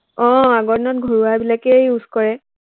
আহ আগৰ দিনত ঘৰুৱা বিলাকেই use কৰে।